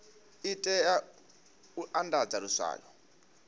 i tea u andadza luswayo